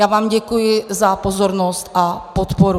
Já vám děkuji za pozornost a podporu.